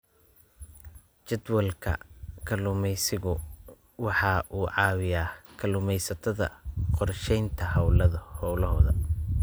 Jadwalka kalluumaysigu waxa uu caawiyaa kalluumaysatada qorshaynta hawlahooda.